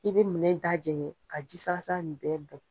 I be minɛ in da jɛngɛ ka ji sala sala nin bɛɛ bɔn.